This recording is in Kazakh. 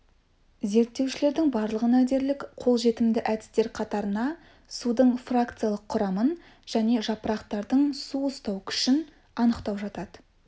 зерттеушілердің барлығына дерлік қолжетімді әдістер қатарына судың фракциялық құрамын және жапырақтардың су ұстау күшін анықтау жатады